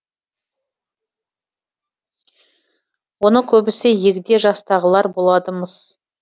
оның көбісі егде жастағылар болады мыс